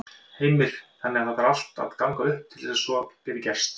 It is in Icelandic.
Heimir: Þannig að það þarf allt að ganga upp til þess að svo geti gerst?